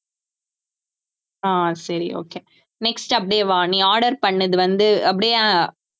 ஆஹ் சரி okay next அப்படியே வா நீ order பண்ணது வந்து அப்படியே